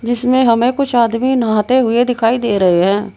इसमें हमें कुछ आदमी नहाते हुए दिखाई दे रहे हैं।